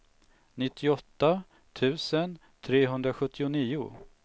nittioåtta tusen trehundrasjuttionio